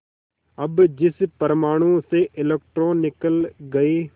अब जिस परमाणु से इलेक्ट्रॉन निकल गए